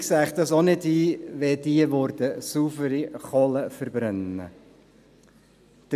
Ich sähe es auch nicht ein, wenn dieses saubere Kohle verbrennen würde.